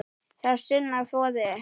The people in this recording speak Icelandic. Sá að sunnan þvoði upp.